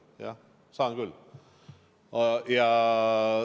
Jah, saan küll.